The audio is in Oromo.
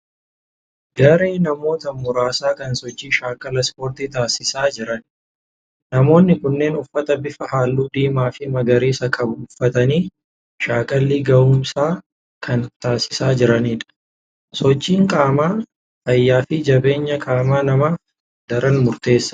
Garee namoota muraasaa kan sochii shaakala Ispoortii taasisaa jiran. Namoonni kunneen uffata bifa halluu diimaa fi magariisa qabu uffatanii shaakallii ga'umsaa kan taasisaa jiranidha. Sochiin qaamaa fayyaa fi jabeenya qaama namaaf daran murteessaadha.